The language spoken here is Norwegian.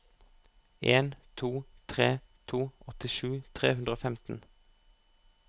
en to tre to åttisju tre hundre og femten